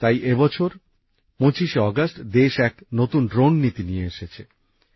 তাই এই বছর ২৫ শে অগাস্ট দেশ এক নতুন ড্রোন নীতি নিয়ে এসেছে